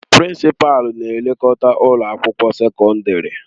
Prinsịpalu na-elekọta ụlọ akwụkwọ sekọndrị.